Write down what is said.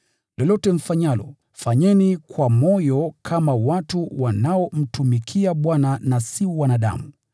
Lolote mfanyalo, fanyeni kwa moyo kama watu wanaomtumikia Bwana, na si wanadamu,